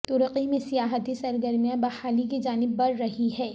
ترکی میں سیاحتی سرگرمیاں بحالی کی جانب بڑہ رہی ہیں